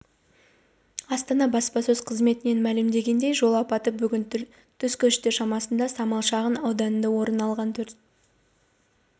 астана баспасөз қызметінен мәлімдегендей жол апаты бүгін түскі үштер шамасында самал шағын ауданында орын алған төрт